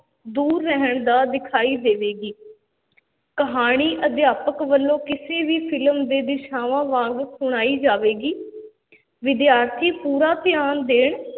ਦੂਰ ਰਹਿਣ ਦਾ ਦਿਖਾਈ ਦੇਵੇਗੀ ਕਹਾਣੀ ਅਧਿਆਪਕ ਵੱਲੋਂ ਕਿਸੇ ਵੀ film ਦੇ ਦਿਸ਼ਾਵਾਂ ਵਾਂਗ ਸੁਣਾਈ ਜਾਵੇਗੀ ਵਿਦਿਆਰਥੀ ਪੂਰਾ ਧਿਆਨ ਦੇਣ